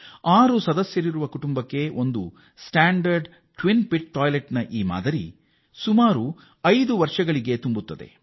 ಆರು ಸದಸ್ಯರ ಕುಟುಂಬದಲ್ಲಿ ಎರಡು ಗುಂಡಿಗಳ ಮಾದರಿ ಶೌಚಾಲಯ ಐದು ವರ್ಷಗಳ ಅವಧಿಯಲ್ಲಿ ತುಂಬುತ್ತದೆ